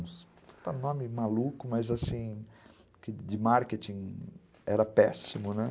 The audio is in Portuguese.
Não é um nome maluco, mas assim, de marketing era péssimo, né?